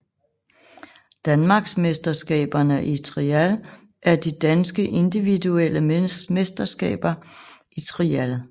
Danmarksmesterskaberne i Trial er de danske individuelle mesterskaber i trial